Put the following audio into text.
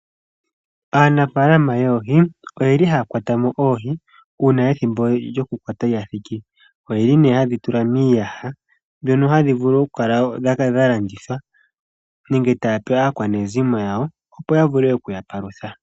Aanafaalama yoohi, oyeli haya kwata oohi uuna ethimbo lyokukwata oohi lyati. Oye li haye dhi tula miiyaha mono okukala dhalandithwa nenge okupa aakwanezimo yawo opo yavule okuya palutha.